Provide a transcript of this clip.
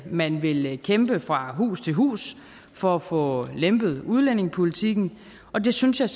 man vil kæmpe fra hus til hus for at få lempet udlændingepolitikken og det synes jeg